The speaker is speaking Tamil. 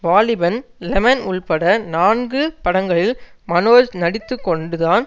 வாலிபன் லெமன் உள்பட நான்கு படங்களில் மனோஜ் நடித்து கொண்டுதான்